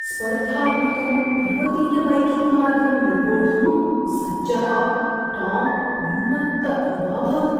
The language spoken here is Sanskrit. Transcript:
स्पर्धात्मकं पर्वतीयबैकिङ्ग्मार्गं निर्वोढुं सज्जः टाम् उन्मत्त इवाभवत्।